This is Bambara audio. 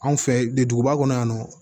Anw fɛ duguba kɔnɔ yan nɔ